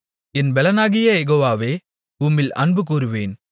என் பெலனாகிய யெகோவாவே உம்மில் அன்புகூருவேன்